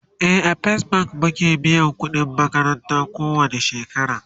e a first bank muke biyan ƙudin makaranta ko wani shekara